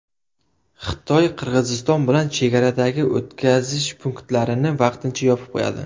Xitoy Qirg‘iziston bilan chegaradagi o‘tkazish punktlarini vaqtincha yopib qo‘yadi.